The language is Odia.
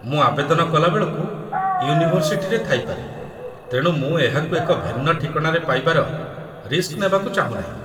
ମୁଁ ଆବେଦନ କଲା ବେଳକୁ ୟୁନିଭର୍ସିଟିରେ ଥାଇପାରେ, ତେଣୁ ମୁଁ ଏହାକୁ ଏକ ଭିନ୍ନ ଠିକଣାରେ ପାଇବାର ରିସ୍କ ନେବାକୁ ଚାହୁଁନାହିଁ